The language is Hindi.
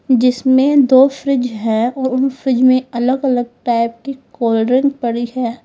जिसमें दो फ्रिज है और उन फ्रिज में अलग अलग टाइप की कोलड्रिंक पड़ी है।